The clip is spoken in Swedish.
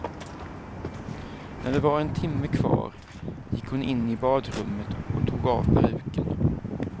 När det var en timme kvar gick hon in i badrummet och tog av peruken.